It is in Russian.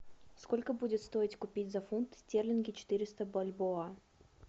сколько будет стоить купить за фунты стерлинги четыреста бальбоа